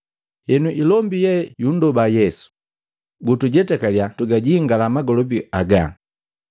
Henu, ilombu ye yundoba Yesu, “Gutujetakalya twagajingala magolobi agaa.”